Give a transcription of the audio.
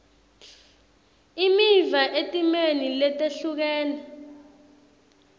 imiva etimeni letehlukene